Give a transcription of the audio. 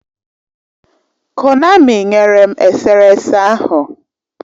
Konami nyere m eserese ahụ.